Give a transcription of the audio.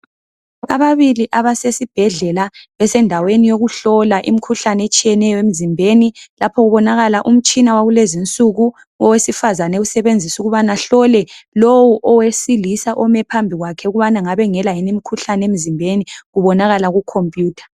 Ababili abasesibhedlela besendaweni yokuhlola imikhuhlane etshiyeneyo emzimbeni lapho kubonakala umtshina wakulezinsuku owesifazana ewusebenzisa ukubana ahlole lowu owesilisa ome phambi kwakhe ukuba ngabe engela yini imkhuhlane emzimbeni kubonakala kukhomputha.